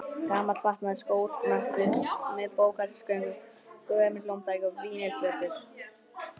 Gamall fatnaður, skór, möppur með bókhaldsgögnum, gömul hljómtæki og vínyl-plötur.